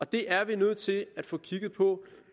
det er vi nødt til at få kigget på